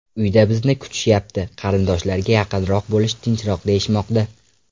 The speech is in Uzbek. Uyda bizni kutishyapti, qarindoshlarga yaqinroq bo‘lish tinchroq, deyishmoqda.